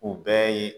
O bɛɛ ye